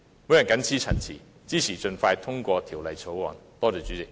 我謹此陳辭，支持盡快通過《條例草案》。